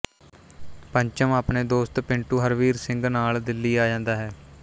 ਪੰਚਮ ਆਪਣੇ ਦੋਸਤ ਪਿੰਟੂ ਹਰਵੀਰ ਸਿੰਘ ਨਾਲ ਦਿੱਲੀ ਆ ਜਾਂਦਾ ਹੈ